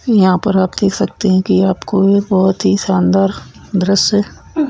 यहां पर आप देख सकते हैं कि आपको बहौत ही शानदार दृश्य --